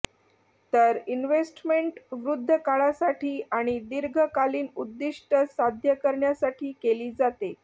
तर इंव्हेस्टमेंट वृद्धकाळासाठी आणि दीर्घ कालीन उद्दीष्ट साध्य करण्यासाठी केली जाते